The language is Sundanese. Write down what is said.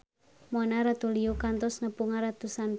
Mona Ratuliu kantos nepungan ratusan fans